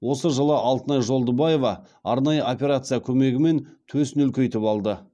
осы жылы алтынай жолдыбаева арнайы операция көмегімен төсін үлкейтіп алды